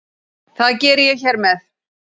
Það geri ég hér með.